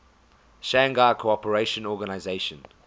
shanghai cooperation organization